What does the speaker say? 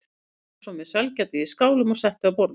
Hún kom svo með sælgætið í skálum og setti á borðið.